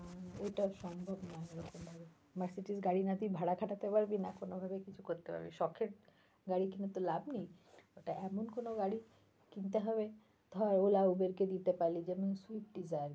হম ওটা সম্ভব না ওই রকম ভাবে মার্সিডিজ গাড়ি না তুই ভাড়া খাটাতে পারবি না কোন ভাবে কিছু করতে পারবি, শখের গাড়ী কিনে তো লাভ নেই, তাই এমন কোনও গাড়ি কিনতে হবে ধর ওলা, উবের কে দিতে পারলি যেমন সুইফট ডীজার l